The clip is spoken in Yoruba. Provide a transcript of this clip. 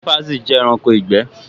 Ṣínpasì jẹ́ ẹranko ìgbẹ́